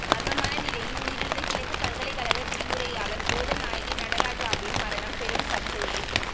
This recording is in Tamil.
மர்மான நிலையில் உயிரிழந்த கிழக்கு பல்கலைக்கழக விரிவுரையாளர் போதநாயகி நடராஜாவின் மரணம் பெரும் சர்ச்சையை